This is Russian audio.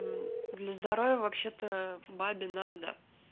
для здоровья вообще-то бабе надо